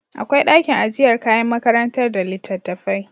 Akwai dakin ajiyar kayan makarantar da litattafai